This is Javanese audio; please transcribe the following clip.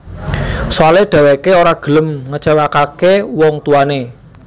Soale dheweké ora gelem ngecewaké wong tuané